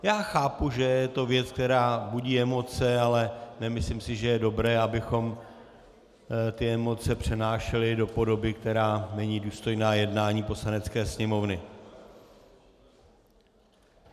Já chápu, že je to věc, která budí emoce, ale nemyslím si, že je dobré, abychom ty emoce přenášeli do podoby, která není důstojná jednání Poslanecké sněmovny.